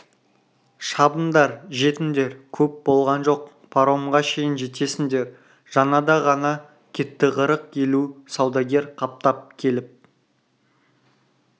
шабындар жетіңдер көп болған жоқ паромға шейін жетесіңдер жаңада ғана кетті қырық елу саудагер қаптап келіп